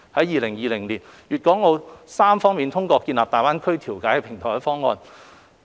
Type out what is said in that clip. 2020年，粵港澳三方通過設立大灣區調解平台的方案。